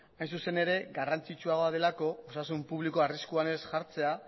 hain zuzen ere garrantzitsuagoa delako osasun publikoa arriskuan ez jartzea